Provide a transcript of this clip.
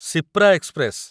Shipra express